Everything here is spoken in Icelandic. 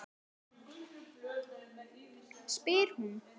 spyr hún.